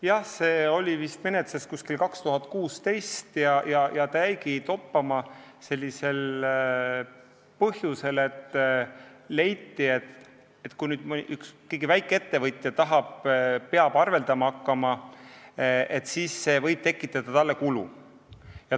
Jah, see oli vist menetluses umbes 2016 ja see jäigi toppama sellel põhjusel, et leiti, et kui mõni väikeettevõtja peab nii arveldama hakkama, siis see võib tekitada talle kulusid.